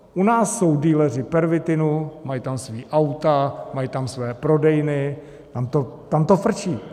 U nás jsou dealeři pervitinu, mají tam svá auta, mají tam svoje prodejny, tam to frčí.